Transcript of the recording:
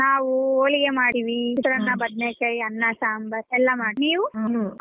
ನಾವು ಹೋಳಿಗೆ ಮಾಡ್ತಿವಿ ಚಿತ್ರಾನ್ನ ಬದ್ನೇಕಾಯಿ ಅನ್ನ ಸಾಂಬಾರ್ ಎಲ್ಲ ಮಾಡ್ತಿವಿ ನೀವು.